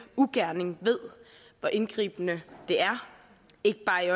ugerning ved hvor indgribende det er ikke bare i